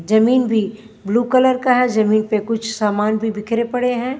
जमीन भी blue colour का है जमीन पे कुछ सामान भी बिखरे पड़े हैं।